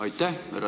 Aitäh!